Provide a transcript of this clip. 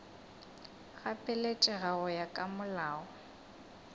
gapeletša go ya ka molao